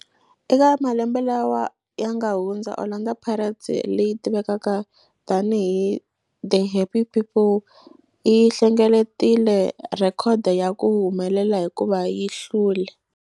Eka malembe lawa yanga hundza, Orlando Pirates, leyi tivekaka tani hi 'The Happy People', yi hlengeletile rhekhodo ya ku humelela hikuva yi hlule.